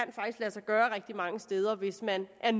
lade sig gøre rigtig mange steder hvis man er